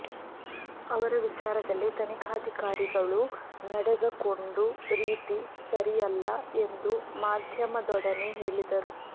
ಅವರ ವಿಚಾರದಲ್ಲಿ ತನಿಖಾಧಿಕಾರಿಗಳು ನಡೆದಕೊಂಡು ರೀತಿ ಸರಿಯಲ್ಲ ಎಂದು ಮಾಧ್ಯಮದೊಡನೆ ಹೇಳಿದರು